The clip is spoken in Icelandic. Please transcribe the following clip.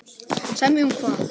Semja um hvað?